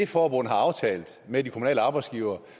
forbundet har aftalt med de kommunale arbejdsgivere